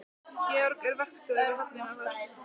Georg er verkstjóri við höfnina þar.